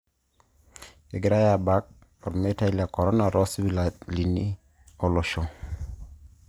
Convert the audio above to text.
Dyspareunia o dysmenorrhea(Osarge oloapa ota emion oleng)